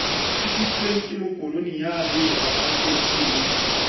tlisitsweng ke bokoloniale aparteite le